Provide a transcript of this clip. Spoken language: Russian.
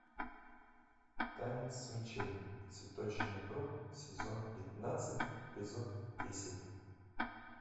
танец мечей цветочный круг сезон пятнадцать эпизод десять